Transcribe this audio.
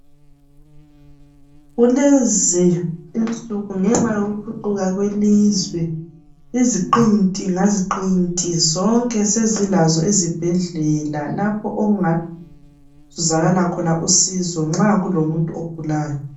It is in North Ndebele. Kulezi insuku ngenxa yokuthuthuka kwelizwe iziqinti zonke sezilazo izibhedlela lapho okungazuzakala khona usizo nxa kulomuntu ogulayo.